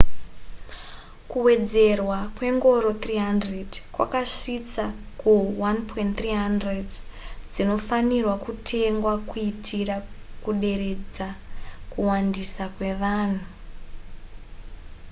kuwedzerwa kwengoro 300 kwakasvitsa ku 1,300 dzinofanirwa kutengwa kuitira kuderedza kuwandisa kwevanhu